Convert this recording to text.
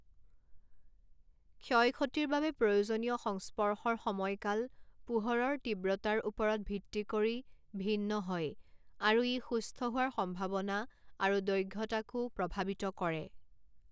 ক্ষয় ক্ষতিৰ বাবে প্ৰয়োজনীয় সংস্পৰ্শৰ সময়কাল পোহৰৰ তীব্ৰতাৰ ওপৰত ভিত্তি কৰি ভিন্ন হয় আৰু ই সুস্থ হোৱাৰ সম্ভাৱনা আৰু দৈঘ্যতাকো প্ৰভাৱিত কৰে।